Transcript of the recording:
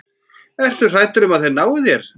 Ertu hræddur um að þeir nái þér?